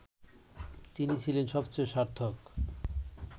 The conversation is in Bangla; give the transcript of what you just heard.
তিনি ছিলেন সবচেয়ে সার্থক